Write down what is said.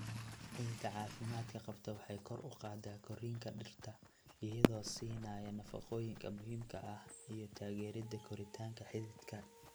Ciidda caafimaadka qabta waxay kor u qaadaa korriinka dhirta iyadoo siinaya nafaqooyinka muhiimka ah iyo taageeridda koritaanka xididka.